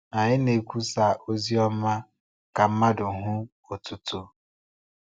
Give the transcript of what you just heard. Anyị na-ekwusa Oziọma ka mmadụ hụ otuto.